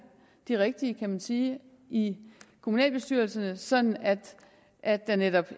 de rigtige kan man sige ind i kommunalbestyrelserne sådan at at der netop